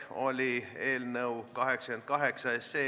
Läheme eelnõu 47 muudatusettepanekute juurde.